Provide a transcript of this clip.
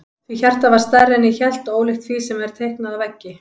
Því hjartað var stærra en ég hélt og ólíkt því sem er teiknað á veggi.